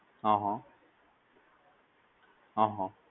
અહ અહ